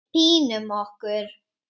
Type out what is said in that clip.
Pínum okkur.